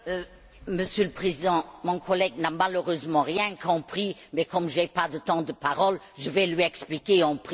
Monsieur le Président, mon collègue n'a malheureusement rien compris, mais comme je n'ai pas de temps de parole, je vais lui expliquer en privé.